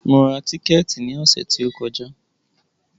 Mo ra tíkẹ̀tì ní ọ̀sẹ̀ tí o kọjá.